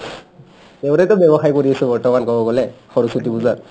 তেওঁৰেতো ব্য়বসায় কৰি আছো বৰ্তমান ক'বলৈ গ'লে সৰস্বতী পূজাৰ